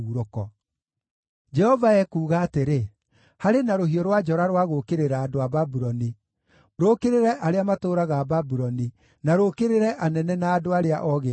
Jehova ekuuga atĩrĩ: “Harĩ na rũhiũ rwa njora rwa gũũkĩrĩra andũ a Babuloni, rũũkĩrĩre arĩa matũũraga Babuloni, na rũũkĩrĩre anene na andũ arĩa ogĩ akuo!